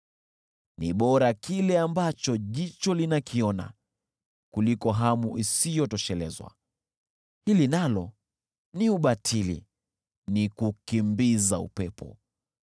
Ni bora kile ambacho jicho linakiona kuliko hamu isiyotoshelezwa. Hili nalo ni ubatili, ni kukimbiza upepo.